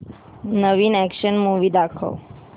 नवीन action movie दाखव